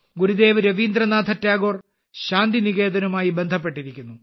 ഗുരുദേവ് രവീന്ദ്രനാഥ ടാഗോർ ശാന്തിനികേതനുമായി ബന്ധപ്പെട്ടിരിക്കുന്നു